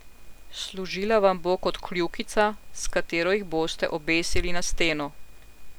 Služila vam bo kot kljukica, s katero jih boste obesili na steno.